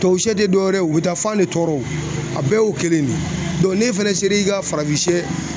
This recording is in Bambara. Tubabusɛ te dɔwɛrɛ ye o u bi taa fan ne tɔɔrɔ o a bɛɛ y'o kelen de ye n'e fɛnɛ ser'i ka farafinsɛ